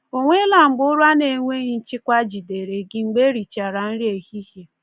Ọ nweela mgbe ụra na-enweghị nchịkwa jidere gị mgbe e richara nri ehihie?